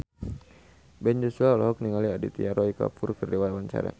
Ben Joshua olohok ningali Aditya Roy Kapoor keur diwawancara